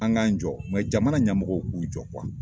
An k'an jɔ jamana ɲamɔgɔ k'u jɔ